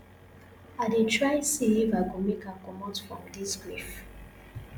i dey try see if i go make her comot from dis grief